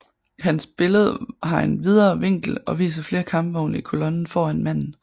Hans billede har en videre vinkel og viser flere kampvogne i kolonnen foran manden